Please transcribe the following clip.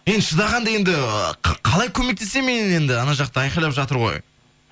енді шыдағанда енді қалай көмектесемін мен енді ана жақта айқайлап жатыр ғой